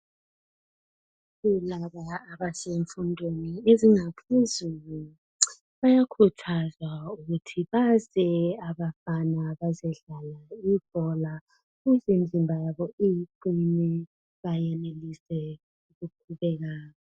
Kulaba abasemfundweni ezingaphezulu. Bayakhuhazwa ukuthi beze abafana bazedlala ibhola, ukuze imizimba yabo ikhule iqinile. Bayenelise ukugibela.